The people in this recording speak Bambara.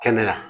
Kɛnɛya